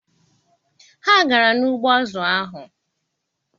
Ha gara n'ugbo azụ ha.